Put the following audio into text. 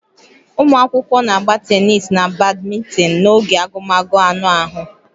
Ụmụ akwụkwọ na-agba tenis na badminton n'oge agụmagụ anụ ahụ